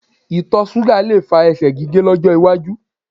Itọ ṣuga le fa ẹsẹ̀ gige lọjọ waju